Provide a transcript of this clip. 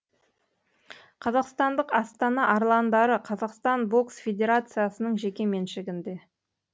қазақстандық астана арландары қазақстан бокс федерациясының жеке меншігінде